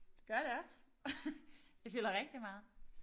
Gør det også. Det fylder rigtig meget